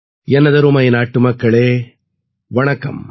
எனதருமை நாட்டுமக்களே வணக்கம்